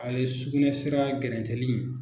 Ale sugunɛsira gɛrɛntɛliin.